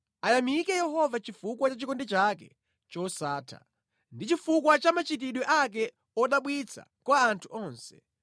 Ayamike Yehova chifukwa cha chikondi chake chosatha ndi chifukwa cha machitidwe ake odabwitsa kwa anthu onse,